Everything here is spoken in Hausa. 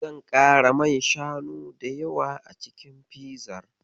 Zan ƙara man shanu da yawa a cikin fizar.